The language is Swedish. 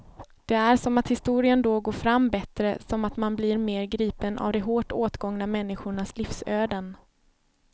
Det är som att historien då går fram bättre, som att man blir mer gripen av de hårt åtgångna människornas livsöden.